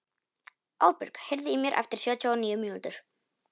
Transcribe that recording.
Árbjörg, heyrðu í mér eftir sjötíu og níu mínútur.